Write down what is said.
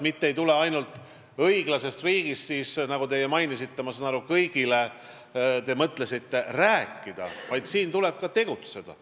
Sellepärast, et õiglasest riigist ei tule mitte ainult kõigile rääkida, nagu teie mainisite, vaid siin tuleb ka tegutseda.